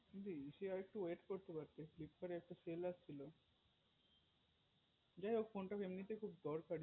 তুমি নিলে যখন আরেকটু wait করতে পড়তে filpkat এ offer ছিল যাইহোক phone টা এমনিতেও খুব দরকার